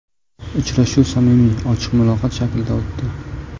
Uchrashuv samimiy, ochiq muloqot shaklida o‘tdi.